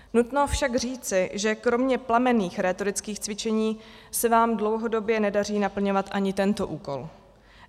Nutno však říci, že kromě plamenných rétorických cvičení se vám dlouhodobě nedaří naplňovat ani tento úkol.